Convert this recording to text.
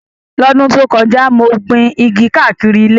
Ní ọdún tó kọjá, mo gbin igi káàkiri ilé